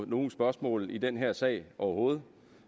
nogen spørgsmål i den her sag overhovedet